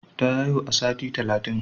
Ta haihu a sati talatin.